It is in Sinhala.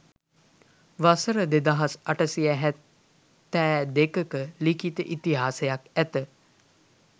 වසර දෙදහස් අටසිය හැත්තෑ දෙකක ලිඛිත ඉතිහාසයක් ඇත